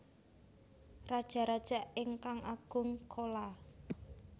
Rajaraja ingkang Agung Chola